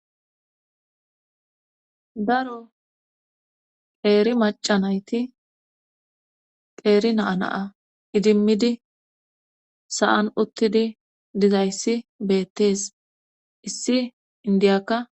Daro qeeri macanayti qeeri naanaa idimmidi sa7an uttidi dizayssi beettees issi indiyakka